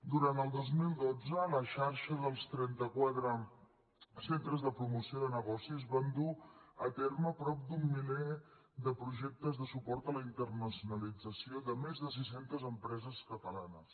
durant el dos mil dotze la xarxa dels trentaquatre centres de promoció de negocis van dur a terme prop d’un miler de projectes de suport a la internacionalització de més de sis centes empreses catalanes